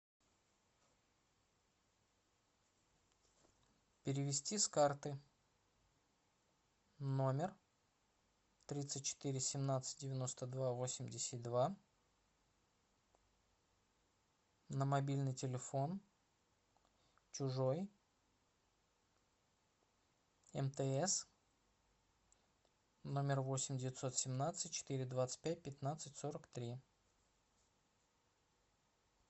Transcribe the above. перевести с карты номер тридцать четыре семнадцать девяносто два восемьдесят два на мобильный телефон чужой мтс номер восемь девятьсот семнадцать четыре двадцать пять пятнадцать сорок три